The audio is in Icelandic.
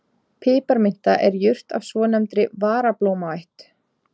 Piparminta er jurt af svonefndri varablómaætt.